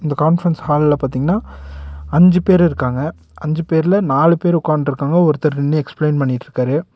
இந்த கான்பிரன்ஸ் ஹால்ல பாத்தீங்னா அஞ்சு பேர் இருக்காங்க அஞ்சு பேர்ல நாலு பேர் உக்கான்ட்ருக்காங்க ஒருத்தர் நின்னு எக்ஸ்பிளைன் பண்ணிட்ருக்காரு.